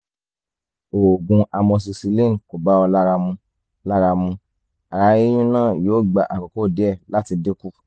oògùn amoxicillin kò bá ọ lára mu lára mu ara yíyún náà yóò gba àkókò díẹ̀ láti dínkù